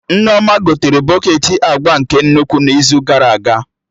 Nneoma gotere bọketị agba nke nnukwu n'izu gara aga